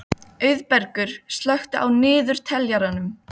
Auðbergur, slökktu á niðurteljaranum.